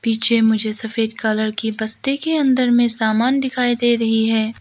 पीछे मुझे सफेद कलर की बस्ते के अंदर में सामान दिखाई दे रही है।